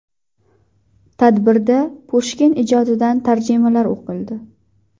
Tadbirda Pushkin ijodidan tarjimalar o‘qildi.